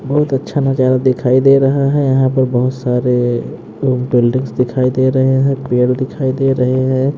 बहुत अच्छा नजारा दिखाई दे रहा है यहां पर बहुत सारे बिल्डिंग्स दिखाई दे रहे हैं पेड़ दिखाई दे रहे हैं ।